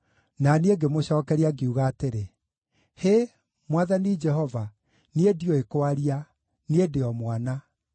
Na niĩ ngĩmũcookeria, ngiuga atĩrĩ: “Hĩ, Mwathani Jehova! Niĩ ndiũĩ kwaria; niĩ ndĩ o mwana.”